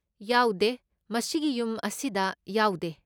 ꯌꯥꯎꯗꯦ, ꯃꯁꯤꯒꯤ ꯌꯨꯝ ꯑꯁꯤꯗ ꯌꯥꯎꯗꯦ꯫